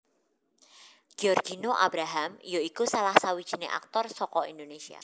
Giorgino Abraham ya iku salah sawijiné aktor saka Indonesia